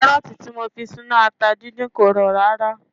Kárọ̀tì tí mo fi sínú ata dídín kò rọ̀ rárá